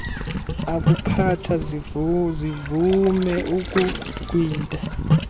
akuphatha zivume ukumgwinta